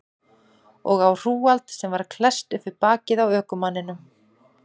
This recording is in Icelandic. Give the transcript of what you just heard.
Og á hrúgald sem var klesst upp við bakið á ökumanninum.